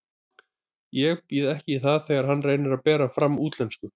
Ég býð ekki í það þegar hann reynir að bera fram á útlensku.